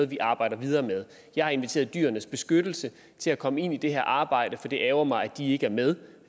vi arbejder videre med jeg har inviteret dyrenes beskyttelse til at komme ind i det her arbejde for det ærgrer mig at de ikke er med